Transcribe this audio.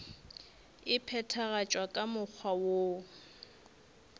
e phethagatšwa ka mokgwa woo